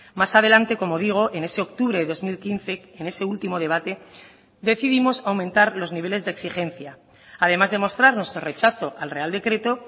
más adelante como digo en ese octubre de dos mil quince en ese último debate decidimos aumentar los niveles de exigencia además de mostrar nuestro rechazo al real decreto